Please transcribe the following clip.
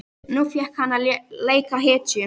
Nú fékk hann að leika hetju.